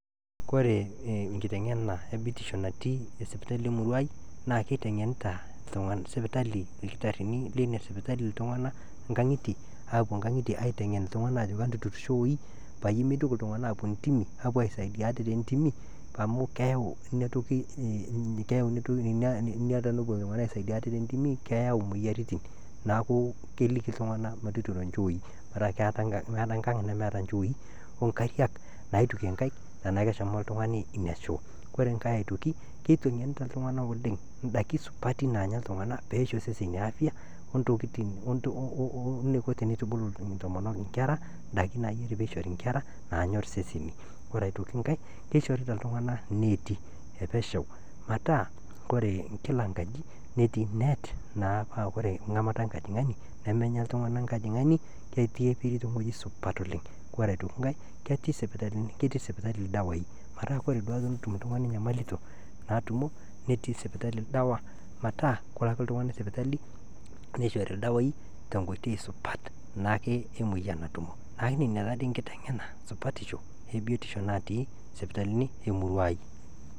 Koree nkitengana natii sipitali e murruai naa keitengenita lkitarini le ina sipitali ltungana aapo nkang'itie aitengen aajoki matutur shooii peyie emeitoki ltungana aapo intimi aisaidia ltungana te ntimi amu keyau imoyiarritin naaku keliki ltungana metuturo inchoii metaa meata enkang nemeta inchoii o inkariak naituke inkaik teneaku eshomo ltungani ina shoo, kore inkae aitoki, keitengenita ltungana oleng, indaki supati naanya ltungana peisho seseni apyaa oo neiko teneitubulu intomonok inkerra, indaki naaji peishori inkerra naanyorr sesemi, kore aitoki inkae keishorita ltungana neeti epesheu metaa kore kila nkaji netii neet naa paa kore ng'amata enkajing'ani nemenya ltungana nkajing'ani netii eperi teweji supat oleng, kore aitoki inkae ketii sipitali irdawaii pataa kore duake tenetum ltungani inyamalito naatumo netii sipitali ildawa pataa kelo ake ltungani sipitali neishori ldawaii te nkoitoi supat naake emoyian natumo, naaku nenia taa dei nkiteng'ena supatisho e biotisho natii sipitalini e murruai.